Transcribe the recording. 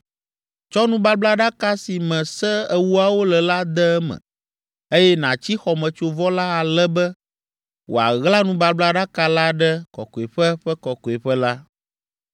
Tsɔ nubablaɖaka si me Se Ewoawo le la de eme, eye nàtsi xɔmetsovɔ la ale be wòaɣla nubablaɖaka la ɖe Kɔkɔeƒe ƒe Kɔkɔeƒe la.